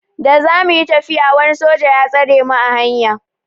Da za muyi tafiya wani soja ya tsare mu a hanya.